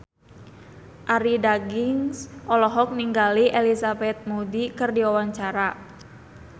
Arie Daginks olohok ningali Elizabeth Moody keur diwawancara